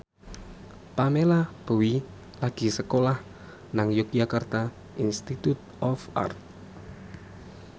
Pamela Bowie lagi sekolah nang Yogyakarta Institute of Art